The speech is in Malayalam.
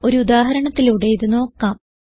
ഒരു ഉദാഹരണത്തിലൂടെ ഇത് നോക്കാം